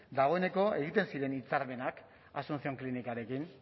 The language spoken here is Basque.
dagoeneko egiten ziren hitzarmenak asuncion klinikarekin